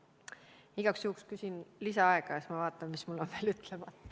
Ma küsin igaks juhuks lisaaega ja siis vaatan, mis mul on veel ütlemata.